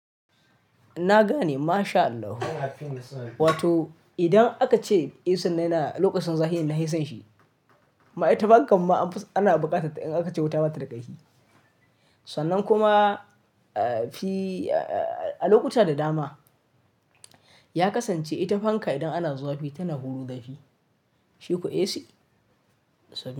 Na gane masha Allah. Wato idan aka ce AC na yana lokacin zahi nahisan shi. Ma ita fanka ma ana bukatar in aka ce wuta bata da ƙarfi. Sannan kuma a lokuta da dama ya kasance ita fanka idan ana zafi tana huro zafi. Shi kuwa AC.